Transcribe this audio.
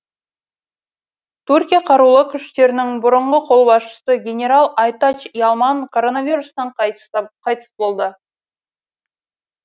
түркия қарулы күштерінің бұрынғы қолбасшысы генерал айтач ялман коронавирустан қайтыс болды